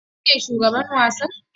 Shin kai ne shugaban wasan?